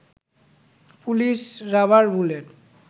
police rubber bullet